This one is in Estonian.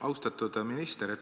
Austatud minister!